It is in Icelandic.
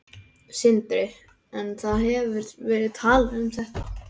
Sindri: En það hefur verið talað um þetta?